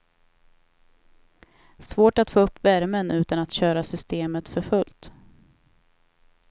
Svårt att få upp värmen utan att köra systemet för fullt.